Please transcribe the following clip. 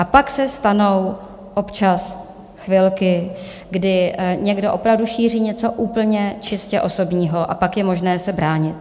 A pak se stanou občas chvilky, kdy někdo opravdu šíří něco úplně čistě osobního, a pak je možné se bránit.